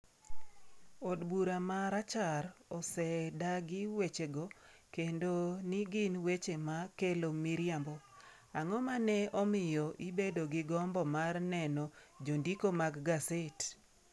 Od bura ma Rachar osedagi wechego kendo ni gin weche ma kelo miriambo. Ang’o ma ne omiyo ibedo gi gombo mar neno jondiko mag gaset?